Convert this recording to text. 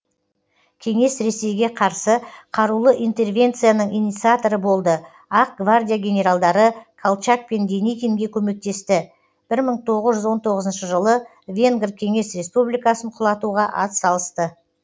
кеңес ресейге қарсы қарулы интервенцияның инциаторы болды ақ гвардия генералдары колчак пен деникинге көмектесті бір мың тоғыз жүз он тоғызыншы жылы венгр кеңес республикасын құлатуға ат салысты